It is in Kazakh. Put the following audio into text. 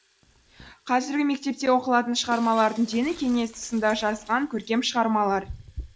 қазіргі мектепте оқылатын шығармалардың дені кеңес тұсында жазылған көркем шығармалар